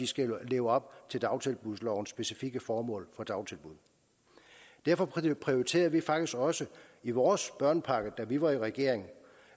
skal leve op til dagtilbudslovens specifikke formål for dagtilbud derfor prioriterede vi faktisk også i vores børnepakke da vi var i regering